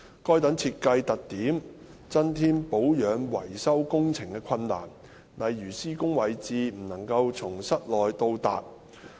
該等設計特點增添保養維修工程的困難，例如施工位置不能從室內到達。